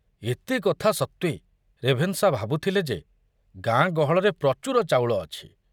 ଏତେ କଥା ସତ୍ତ୍ବେ ରେଭେନଶା ଭାବୁଥିଲେ ଯେ ଗାଁ ଗହଳରେ ପ୍ରଚୁର ଚାଉଳ ଅଛି।